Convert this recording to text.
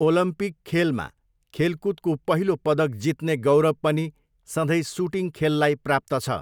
Olympic खेलमा खेलकुदको पहिलो पदक जित्ने गौरव पनि सधैँ सुटिङ खेललाई प्राप्त छ।